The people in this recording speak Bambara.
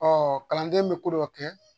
Ɔ kalanden bɛ ko dɔ kɛ